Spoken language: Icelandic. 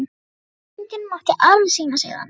Álfadrottningin mátti alveg sýna sig þarna.